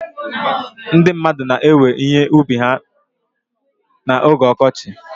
Ndị mmadụ na-ewe ihe ubi ha na oge ọkọchị.